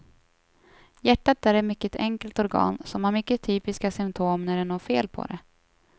Hjärtat är ett mycket enkelt organ som har mycket typiska symptom när det är något fel på det.